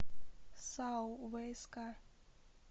сао вск